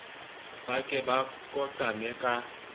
ba ke ba koqame ka